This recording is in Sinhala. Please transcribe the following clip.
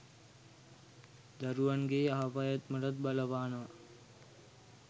දරැවන්ගේ යහපැවැත්මටත් බලපානවා.